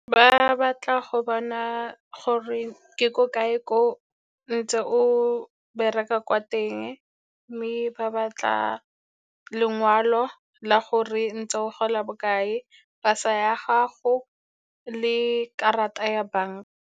Ba batla go bona gore ke ko kae ko o ntse o bereka kwa teng, mme ba batla lengwalo la gore ntse o gola bokae, pasa ya gago le karata ya banka.